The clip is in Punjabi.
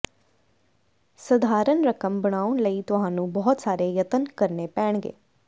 ਸਧਾਰਣ ਰਕਮ ਬਣਾਉਣ ਲਈ ਤੁਹਾਨੂੰ ਬਹੁਤ ਸਾਰੇ ਯਤਨ ਕਰਨੇ ਪੈਣਗੇ